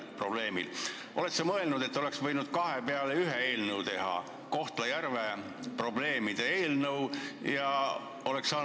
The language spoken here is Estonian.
Oled sa mõelnud, et oleks võinud kahe peale ühe eelnõu teha: Kohtla-Järve probleemide lahendamise seaduse eelnõu?